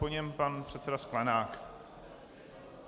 Po něm pan předseda Sklenák.